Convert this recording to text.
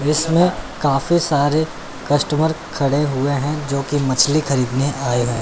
जिसमें काफी सारे कस्टमर खड़े हुए हैं जो की मछली खरीदने आए हैं।